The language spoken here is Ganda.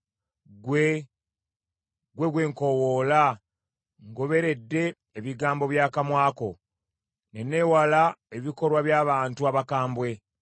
Ggwe, gwe nkoowoola, ngoberedde ebigambo by’akamwa ko, ne neewala ebikolwa by’abantu abakambwe.